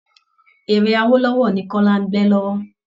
Eré Awolowo ni kọ́lá ń gbẹ́ lọ́wọ́